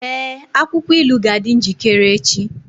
Ee, akwụkwọ ilu ga-adị njikere echi.